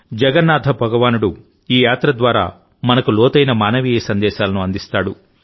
జగన్నాథ భగవానుడు ఈ యాత్ర ద్వారా మనకు చాలా లోతైన మానవీయ సందేశాలను అందిస్తాడు